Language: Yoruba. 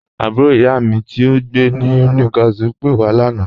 Àbúrò iyá mi tí ò ǹgbé ní Newcastle pé wà lána.